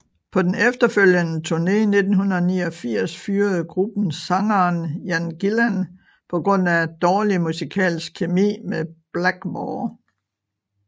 På den efterfølgende turné i 1989 fyrede gruppen sangeren Ian Gillan på grund af dårlig musikalsk kemi med Blackmore